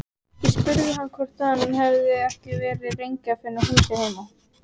Ég spurði hann hvort hann hefði ekki verið lengi að finna húsið heima.